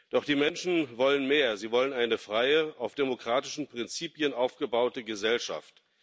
Doch die Menschen wollen mehr Sie wollen eine freie, auf demokratischen Prinzipien aufgebaute Gesellschaft.